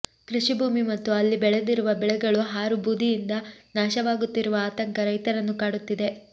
ಕೃಷಿ ಭೂಮಿ ಮತ್ತು ಅಲ್ಲಿ ಬೆಳೆದಿರುವ ಬೆಳೆಗಳು ಹಾರು ಬೂದಿಯಿಂದ ನಾಶವಾಗುತ್ತಿರುವ ಆತಂಕ ರೈತರನ್ನು ಕಾಡುತ್ತಿದೆ